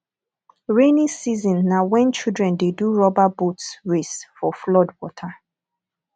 rainy season na when children dey do rubber boat race for flood water